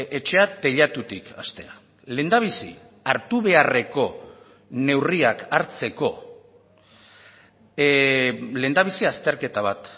etxea teilatutik hastea lehendabizi hartu beharreko neurriak hartzeko lehendabizi azterketa bat